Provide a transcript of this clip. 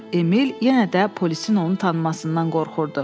Emil yenə də polisin onu tanımasından qorxurdu.